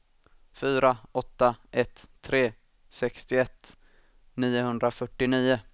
fyra åtta ett tre sextioett niohundrafyrtionio